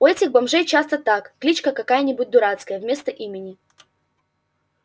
у этих бомжей часто так кличка какая-нибудь дурацкая вместо имени